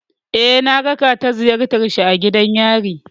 Eh, na raka ta ziyartar shi a gidan yari.